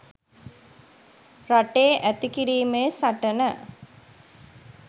රටේ ඇති කිරීමේ සටන